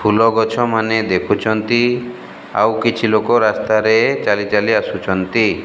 ଫୁଲଗଛ ମାନେ ଦେଖୁଚନ୍ତି ଆଉ କିଛି ଲୋକ ରାସ୍ତାରେ ଚାଲିଚାଲି ଆସୁଛନ୍ତି।